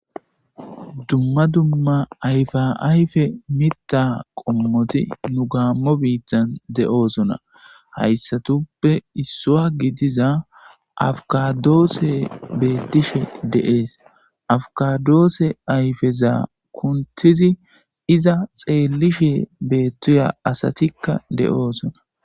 dumma dumma ayfa ayfe mita qommoti nu gaammo biittan de7oosona hayssatuppe issuwa gidiza afkadoosse beettishe de7ees afkadoosse ayfezaa kuntizi iza xeellishe beettiya asatikka de7oosona